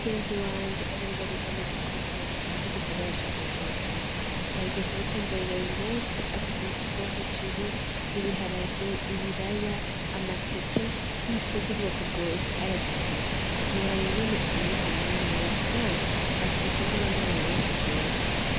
Mugenzi wanje adandariza mu isoko nkuru y'igisagara ca kujumbora nagiye ku mutemberero yu musi afise imifuka b'umuceri ibiharage ibiraya amateke ifuze ubwoko bwose arazifise ntiboraba ingene yubuka amahera menshi, kandi afise n'abanwanyu benshi bwose.